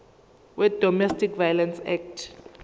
wedomestic violence act